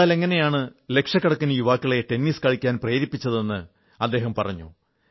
Nadal എങ്ങനെയാണ് ലക്ഷക്കണക്കിന് യുവാക്കളെ ടെന്നിസ് കളിക്കാൻ പ്രേരിപ്പിച്ചതെന്ന് അദ്ദേഹം പറഞ്ഞു